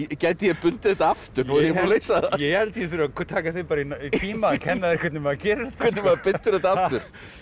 gæti ég bundið þetta aftur ég held ég þurfi að taka þig í tíma kenna þér hvernig maður gerir hvernig maður bindur þetta aftur